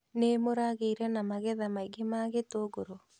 Nĩ mũragĩire na magetha maingĩ ma gĩtũngũrũ?